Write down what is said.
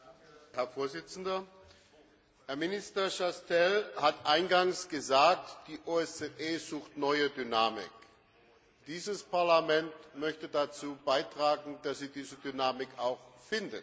Herr Präsident! Herr Minister Chastel hat eingangs gesagt Die OSZE sucht neue Dynamik. Dieses Parlament möchte dazu beitragen, dass sie diese Dynamik auch findet.